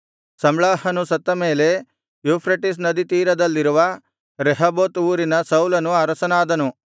ಸಮ್ಲಾಹನು ಸತ್ತ ಮೇಲೆ ಯೂಫ್ರೆಟಿಸ್ ನದಿ ತೀರದಲ್ಲಿರುವ ರೆಹೋಬೋತ್ ಊರಿನ ಸೌಲನು ಅರಸನಾದನು